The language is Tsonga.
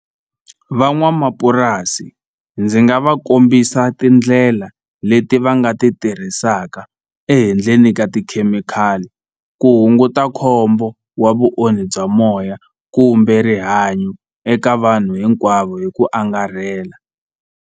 Van'wamapurasi ndzi nga va kombisa tindlela leti va nga ti tirhisaka ehenhleni ka tikhemikhali ku hunguta khombo wa vuonhi bya moya kumbe rihanyo eka vanhu hinkwavo hi ku angarhela.